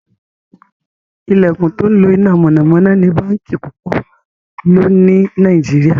ilẹkùn tó ńlo iná mọ̀nàmọ́ná ní bánkì púpọ ló ní Nàìjíríà.